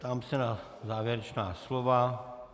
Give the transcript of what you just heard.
Ptám se na závěrečná slova.